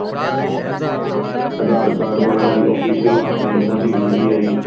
aadhar card ਵਾਲਿਆ ਦੀ official ਆਪਣੀ ਇਹਨਾ ਦੀ U D I